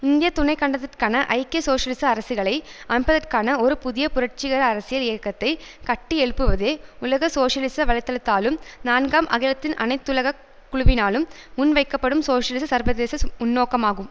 இந்திய துணைக்கண்டத்திற்கான ஐக்கிய சோசியலிச அரசுகளை அமைப்பதற்கான ஒரு புதிய புரட்சிகர அரசியல் இயக்கத்தை கட்டியெழுப்புவதே உலக சோசியலிச வலைத்தளத்தாலும் நான்காம் அகிலத்தின் அனைத்துலக குழுவினாலும் முன்வைக்கப்படும் சோசியலிச சர்வதேசஸ் முன்னோக்காகும்